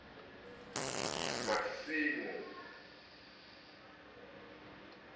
masimo a senngwa ho ya